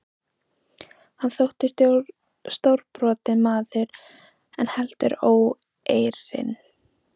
Hann þótti stórbrotinn maður en heldur óeirinn.